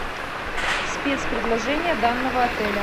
спец предложения данного отеля